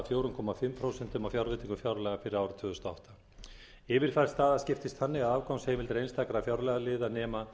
fjögur og hálft prósent af fjárveitingum fjárlaga ársins tvö þúsund og átta yfirfærð staða skiptist þannig að afgangsheimildir einstakra fjárlagaliða nema